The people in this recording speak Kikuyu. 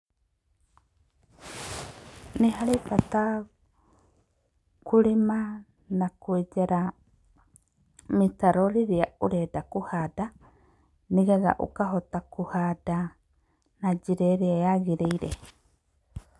Nĩ harĩ bata kũrĩma na kwenjera mĩtaro rĩrĩa ũrenda kũhanda, nĩ getha ũkahota kũhanda na njĩra ĩrĩa yagĩrĩire.